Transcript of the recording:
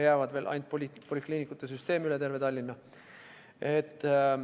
Jääb veel ainult polikliinikute süsteem üle terve Tallinna.